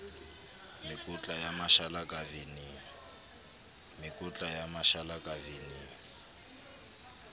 mekotla ya mashala ka veneng